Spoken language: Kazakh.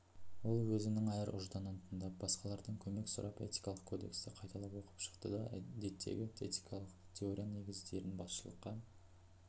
ол өзінің ар-ұжданын тыңдап басқалардан көмек сұрап этикалық кодексті қайталап оқып шықты да деттегі этикалық теорияның негіздерін басшылыққа